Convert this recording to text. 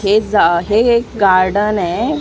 हे ज अ हे एक गार्डन आहे .